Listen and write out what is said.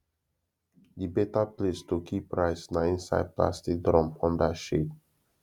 the better place to keep rice na inside plastic drum under shade